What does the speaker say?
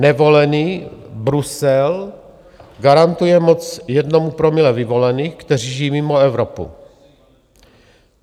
Nevolený Brusel garantuje moc jednomu promile vyvolených, kteří žijí mimo Evropu.